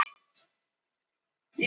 Broddi